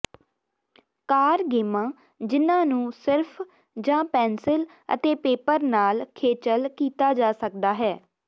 ਕਾਰ ਗੇਮਾਂ ਜਿਨ੍ਹਾਂ ਨੂੰ ਸਿਰਫ ਜਾਂ ਪੈਨਸਿਲ ਅਤੇ ਪੇਪਰ ਨਾਲ ਖੇਚਲ ਕੀਤਾ ਜਾ ਸਕਦਾ ਹੈ